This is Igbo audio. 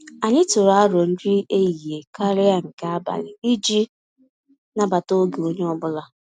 Anyị tụrụ arọ nri ehihie karịa nke abali iji nabata oge onye ọbụla